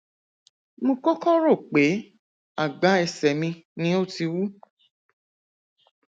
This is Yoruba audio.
mo kọkọ rò pé àgbá ẹsẹ mi ni ó ti wú